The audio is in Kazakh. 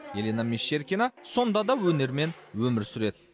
елена мещеркина сонда да өнермен өмір сүреді